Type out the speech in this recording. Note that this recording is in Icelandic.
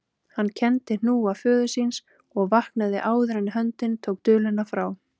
Hann kenndi hnúa föður síns og vaknaði áður en höndin tók duluna frá.